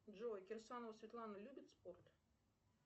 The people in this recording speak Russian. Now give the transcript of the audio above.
джой кирсанова светлана любит спорт